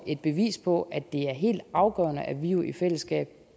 et bevis på at det er helt afgørende at vi vi i fællesskab